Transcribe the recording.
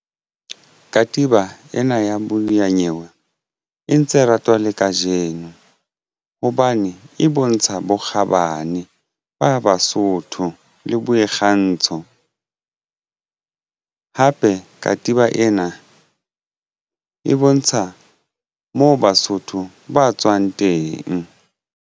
Katiba ena ya modiyanyewe e ntse e ratwa le kajeno hobane e bontsha bokgabane ba Basotho le bo boikgantsho hape katiba ena e bontsha moo Basotho ba tswang teng.